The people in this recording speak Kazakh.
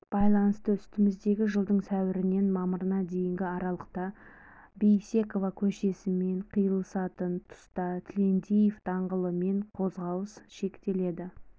байланысты үстіміздегі жылдың сәуірінен мамырына дейінгі аралықта бейсекова көшесімен қиылысатын тұста тілендиев даңғылымен қозғалыс шектеледі